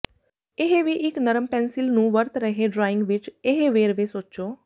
ਇਹ ਵੀ ਇੱਕ ਨਰਮ ਪੈਨਸਿਲ ਨੂੰ ਵਰਤ ਰਹੇ ਡਰਾਇੰਗ ਵਿੱਚ ਇਹ ਵੇਰਵੇ ਸੋਚੋ